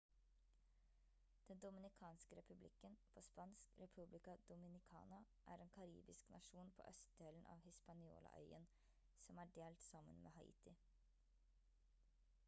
den dominikanske republikken på spansk: república dominicana er en karibisk nasjon på østdelen av hispaniola-øyen som er delt sammen med haiti